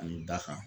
Ani da kan